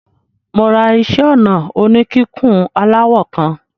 Mo ra iṣẹ́-ọnà oníkíkùn aláwọ̀ kan.